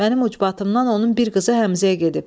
Mənim ucbatımdan onun bir qızı Həmzəyə gedib.